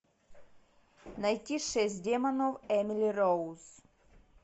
найти шесть демонов эмили роуз